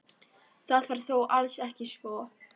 Það var þó alls ekki svo.